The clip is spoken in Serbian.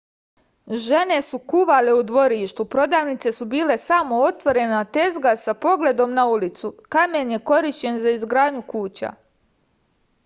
žene su kuvale u dvorištu prodavnice su bile samo otvorene tezge sa pogledom na ulicu kamen je korišćen za izgradnju kuća